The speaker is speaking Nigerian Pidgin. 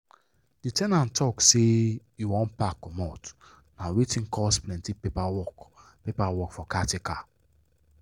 the ten ant talk say e wan pack comot na wetin cos plenty paper work paper work for caretaker.